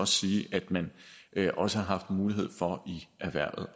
sige at man også har haft mulighed for i erhvervet